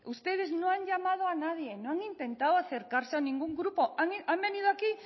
ustedes no han llamado a nadie no han intentado acercarse a ningún grupo han venido aquí